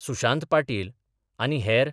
सुशांत पाटील आनी हेर